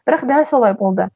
бірақ дәл солай болды